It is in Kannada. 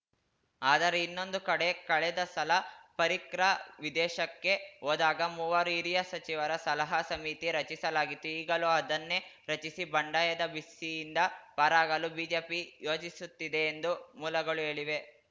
ಆದರೆ ಇನ್ನೊಂದು ಕಡೆ ಕಳೆದ ಸಲ ಪರಿಕ್ರ ವಿದೇಶಕ್ಕೆ ಹೋದಾಗ ಮೂವರು ಹಿರಿಯ ಸಚಿವರ ಸಲಹಾ ಸಮಿತಿ ರಚಿಸಲಾಗಿತ್ತು ಈಗಲೂ ಅದನ್ನೇ ರಚಿಸಿ ಬಂಡಾಯದ ಬಿಸಿಯಿಂದ ಪಾರಾಗಲು ಬಿಜೆಪಿ ಯೋಚಿಸುತ್ತಿದೆ ಎಂದು ಮೂಲಗಳು ಹೇಳಿವೆ